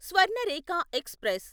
Swarnarekha express